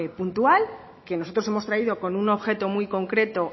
puntual que nosotros hemos traído con un objeto muy concreto